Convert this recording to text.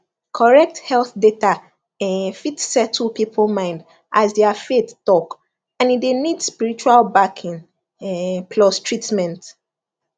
correct health data um fit settle people mind as their faith talk and e dey need spiritual backing um plus treatment